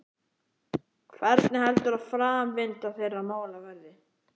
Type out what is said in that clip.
Hvernig heldur að framvinda þeirra mála verði?